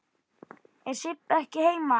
Er Sibba ekki heima?